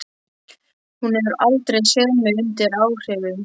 Hún hefur aldrei séð mig undir áhrifum.